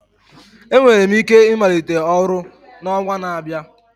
Enwere m ike ịmalite ọrụ n'ọnwa na-abịa